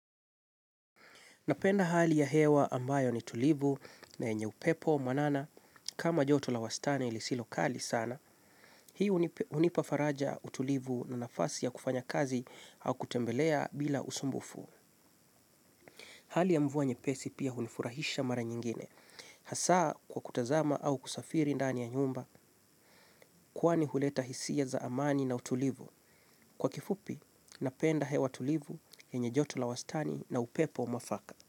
Napenda hali ya hewa ambayo ni tulivu na enye upepo, mwanana, kama joto la wastani lisilokali sana, hii unipafaraja utulivu na nafasi ya kufanya kazi au kutembelea bila usumbufu. Hali ya mvua nyepesi pia unifurahisha mara nyingine. Hasaa kwa kutazama au kusafiri ndani ya nyumba, kuwani huleta hisia za amani na utulivu. Kwa kifupi, napenda hewa tulivu enye joto la wastani na upepo mwafaka.